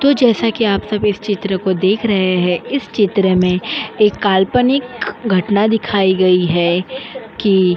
तो जैसा कि आप सभी इस चित्र को देख रहे हैं। इस चित्र में एक काल्पनिक घटना दिखाई गई है की --